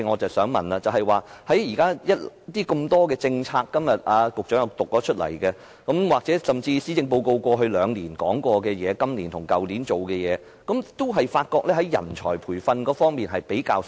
儘管局長今天讀出多項政策，甚至過去兩年的施政報告亦提到今年和去年已進行各項工作，但我發覺在人才培訓方面的工作比較少。